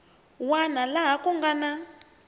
wana laha ku nga na